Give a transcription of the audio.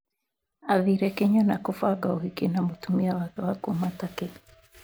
Aathire Kĩnyona kũbanga ũhiki na mũtumia wake wa kuuma Turkey.